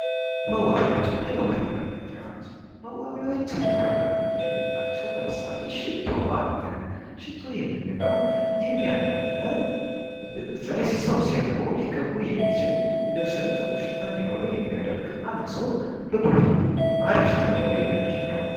መዋቢያዎችና የውበት መጠበቂያዎች፦ መዋቢያዎች እና የውበት መጠበቂያዎች የምንላቸው ለምሳሌ ሽቶ አለ ሽቶ ብብት ላይ ሰው ሲያልበው ሊቀባው የሚችል ፥ ልብስም ጥሩ ሽታ እንዲኖረው የሚያደርግ አንድ ሰው ጥሩ ሽታ እንዲኖረው የሚያደርግ ነው።